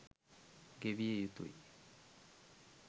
ගෙවිය යුතුයි.